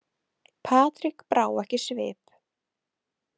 Patrik brá ekki svip.